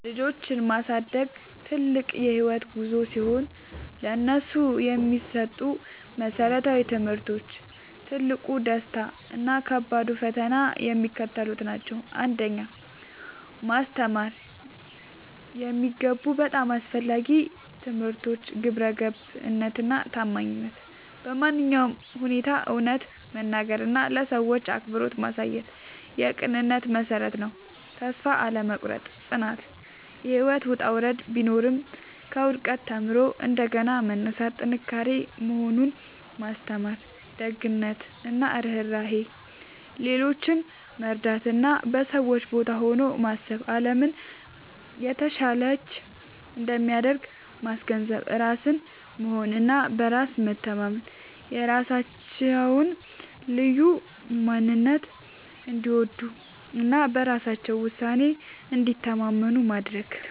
ልጆችን ማሳደግ ትልቅ የህይወት ጉዞ ሲሆን፥ ለነሱ የሚሰጡ መሰረታዊ ትምህርቶች፣ ትልቁ ደስታ እና ከባዱ ፈተና የሚከተሉት ናቸው 1. ማስተማር የሚገቡ በጣም አስፈላጊ ትምህርቶች ግብረገብነት እና ታማኝነት በማንኛውም ሁኔታ እውነትን መናገር እና ለሰዎች አክብሮት ማሳየት የቅንነት መሠረት ነው። ተስፋ አለመቁረጥ (ጽናት)፦ ህይወት ውጣ ውረድ ቢኖራትም፣ ከውድቀት ተምሮ እንደገና መነሳት ጥንካሬ መሆኑን ማስተማር። ደግነት እና ርህራሄ፦ ሌሎችን መርዳት እና በሰዎች ቦታ ሆኖ ማሰብ አለምን የተሻለች እንደሚያደርግ ማስገንዘብ። ራስን መሆን እና በራስ መተማመን፦ የራሳቸውን ልዩ ማንነት እንዲወዱ እና በራሳቸው ውሳኔ እንዲተማመኑ ማድረግ።